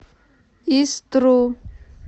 истру